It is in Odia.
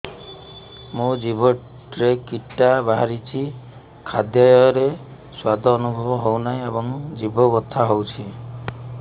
ମୋ ଜିଭରେ କିଟା ବାହାରିଛି ଖାଦ୍ଯୟରେ ସ୍ୱାଦ ଅନୁଭବ ହଉନାହିଁ ଏବଂ ଜିଭ ବଥା ହଉଛି